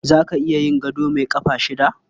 Za ka iya yin gado mai ƙafa shida?